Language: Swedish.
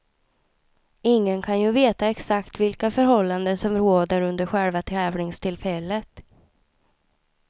Ingen kan ju veta exakt vilka förhållanden som råder under själva tävlingstillfället.